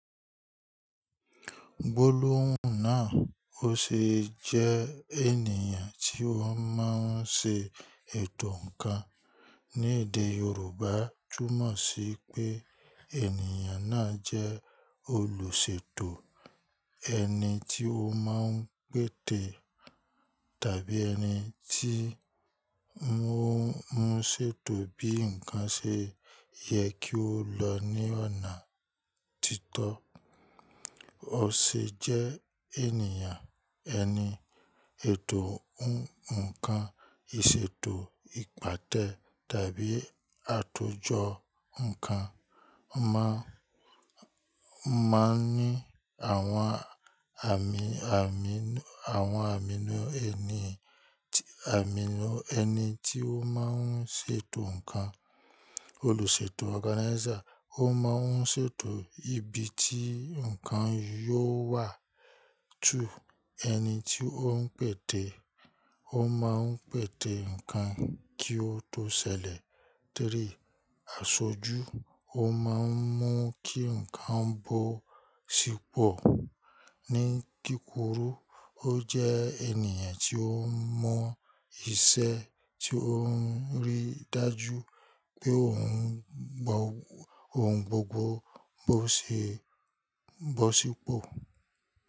Gbólóhùn náà ó ṣe jẹ́ ènìyàn tí wọ́n máa ń ṣe ètò ǹkan. Ni èdè Yorùbá, túmọ̀ sí pé ènìyàn náà jẹ́ olùṣètò, ẹni tí ó máa ń pète tàbí ẹni tí ń mú ṣètò bí ǹkan ṣe yẹ kí ó lọ ní ọ̀nà títọ́. Ó ṣe jẹ́ ènìyàn ẹni ètò ǹkan, ìṣètò ìpàtẹ tàbí àtòjọ ǹkan máa ń ní àwọn àmì inú ẹni tí ó máa ń ṣètò ǹkan. Olùṣètò organizer ó máa ń ṣètò ibi tí ǹkan yóò wà. Two, ẹni tí ó ń pète, ó máa ń pète ǹkan kí ó tó ṣẹlẹ̀. Three, aṣojú ó máa ń mú kí ǹkan bọ́ sípò. Ní kíkuru, ó jẹ́ ènìyàn tí ó mọ ìṣe tí ó rí dájú pé ohun gbogbo bọ́ sípò.